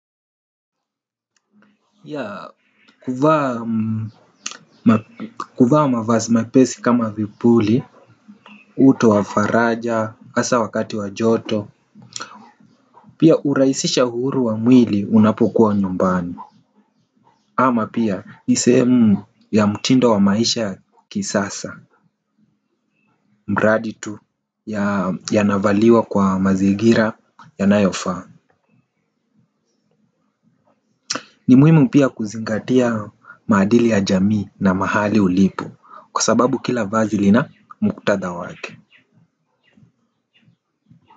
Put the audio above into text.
Ya kuvaa mavazi mapesi kama vipuli. Uto wa faraja, hasa wakati wa joto. Pia hurahisisha uhuru wa mwili unapokuwa nyumbani. Ama pia ni sehemu ya mtindo wa maisha kisasa mradi tu yanavaliwa kwa mazingira yanayofaa. Ni muhimu pia kuzingatia maadili ya jamii na mahali ulipo kwa sababu kila vazi lina muktadha wake.